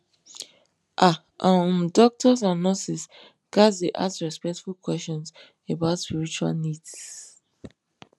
ah um doctors and nurses ghats dey ask respectful questions about spiritual needs